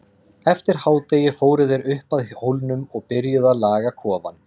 Eftir hádegi fóru þeir upp að hólnum og byrjuðu að laga kofann.